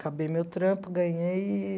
Acabei meu trampo, ganhei eee